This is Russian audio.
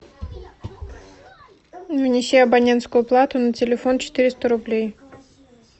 внеси абонентскую плату на телефон четыреста рублей